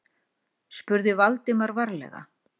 spurði Valdimar varlega.